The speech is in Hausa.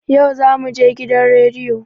Yau zamuje gidan radiyo